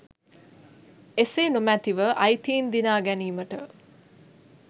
එසේ නොමැතිව අයිතීන් දිනාගැනීමට